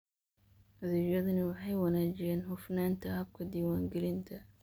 Adeegyadani waxay wanaajiyaan hufnaanta habka diiwaangelinta.